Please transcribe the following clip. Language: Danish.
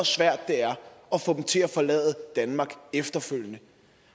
svært det er at få dem til at forlade danmark efterfølgende